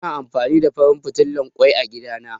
Ina amfani da farin fitilan ƙoi a gida na